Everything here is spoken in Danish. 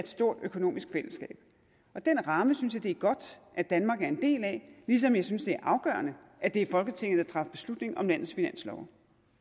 stort økonomisk fællesskab den ramme synes jeg det er godt at danmark er en del af ligesom jeg synes det er afgørende at det er folketinget der træffer beslutning om landets finanslove